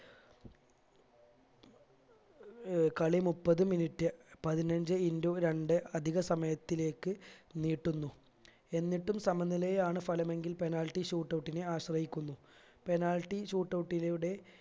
ഏർ കളി മുപ്പത് minute പതിനഞ്ച്‌ into രണ്ട് അധിക സമയത്തേക്ക് നീട്ടുന്നു എന്നിട്ടും സമനിലയാണ് ഫലമെങ്കിൽ penalty shoot out നെ ആശ്രയിക്കുന്നു penalty shoot out ലൂടെ